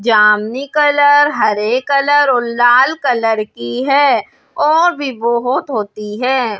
जामनी कलर हरे कलर और लाल कलर की है और भी बहौत होती हैं।